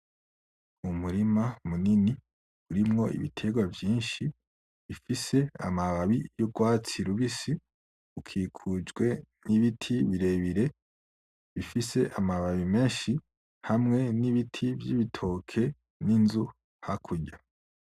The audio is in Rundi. Umurima munini urimwo ibitegwa vyinshi bifise amababi y'urwatsi rubisi bikikujwe n'ibiti birebire bifise amababi menshi, hamwe n'ibiti vy'ibitoki n'inzu hakurya.